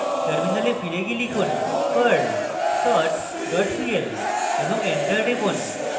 terminal ফিরে গিয়ে লিখুন: perl sort pl এবং enter টিপুন